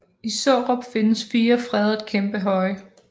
I Sårup findes fire fredede kæmpehøje